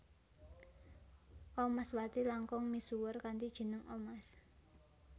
Omaswati langkung misuwur kanthi jeneng Omas